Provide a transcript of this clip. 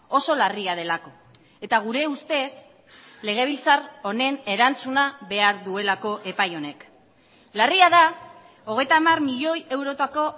oso larria delako eta gure ustez legebiltzar honen erantzuna behar duelako epai honek larria da hogeita hamar milioi eurotako